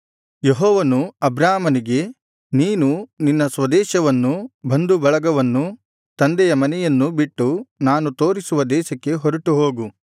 ಯೆಹೋವನು ಅಬ್ರಾಮನಿಗೆ ನೀನು ನಿನ್ನ ಸ್ವದೇಶವನ್ನೂ ಬಂಧುಬಳಗವನ್ನೂ ತಂದೆಯ ಮನೆಯನ್ನೂ ಬಿಟ್ಟು ನಾನು ತೋರಿಸುವ ದೇಶಕ್ಕೆ ಹೊರಟು ಹೋಗು